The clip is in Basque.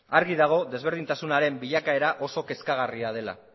argi dago ezberdintasunaren bilakaera oso kezkagarria dela